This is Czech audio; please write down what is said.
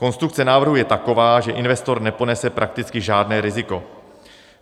Konstrukce návrhu je taková, že investor neponese prakticky žádné riziko.